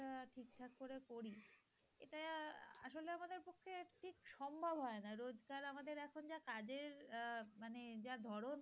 সম্ভব হয় না। রোজকার আমাদের এখন যা কাজের আহ মানে যা ধরণ